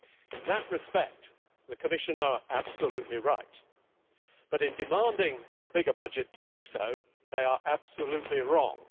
In that respect, the Commission is absolutely right, but in demanding a bigger budget to do so, it is absolutely wrong.